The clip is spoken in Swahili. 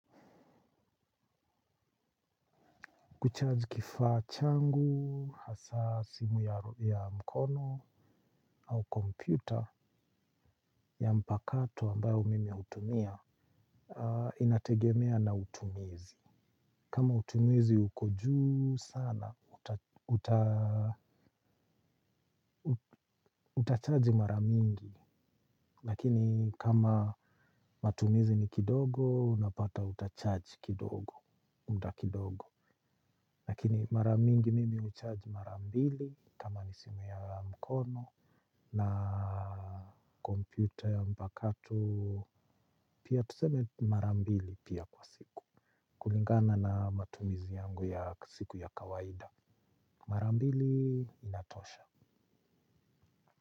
Kucharge kifaa changu, hasa simu ya mkono au kompyuta ya mpakato ambayo mimi utumia, inategemea na utumizi. Kama utumizi uko juu sana, utacharge maramingi. Lakini kama matumizi ni kidogo, unapata utacharge kidogo, muda kidogo. Lakini mara mingi mimi ucharge mara mbili kama ni simu ya mkono. Na kompyuta ya mpakato pia tuseme mara mbili pia kwa siku. Kulingana na matumizi yangu ya siku ya kawaida mara mbili inatosha.